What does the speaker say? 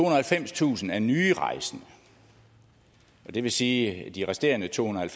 og halvfemstusind er nye rejsende og det vil sige at de resterende tohundrede og